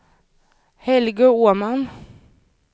Helge Åman